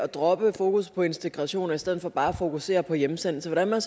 dropper fokus på integration og i stedet bare at fokusere på hjemsendelse vil jeg